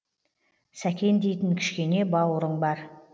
сәкен дейтін кішкене бауырың бар